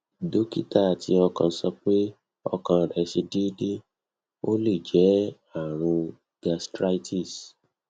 dókítà ti ọkàn sọ pé ọkàn rẹ̀ ṣe deede ó lè jẹ àrùn gastritis